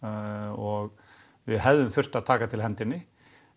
og við hefðum þurft að taka til hendinni